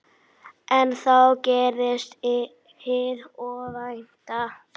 En þá gerðist hið óvænta.